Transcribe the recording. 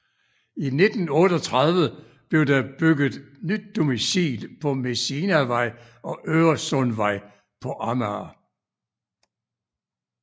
I 1938 blev der bygget nyt domicil på Messinavej og Øresundvej på Amager